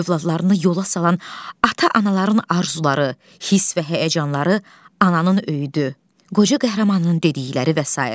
Övladlarını yola salan ata-anaların arzuları, hiss və həyəcanları, ananın öyüdü, qoca qəhrəmanının dedikləri və sair.